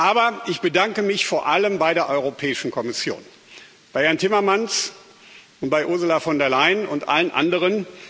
Aber ich bedanke mich vor allem bei der Europäischen Kommission bei Herrn Timmermans und bei Ursula von der Leyen und bei allen anderen.